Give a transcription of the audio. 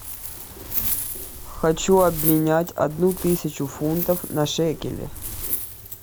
хочу обменять одну тысячу фунтов на шекели